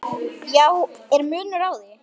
Já, er munur á því?